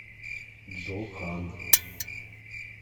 джо хан